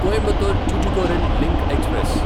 Coimbatore Tuticorin link express